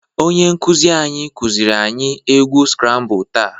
Onye nkụzị anyị kụzịrị anyị igwu skrabụl taa.